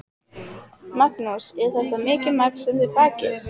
Magnús: Er þetta mikið magn sem þið bakið?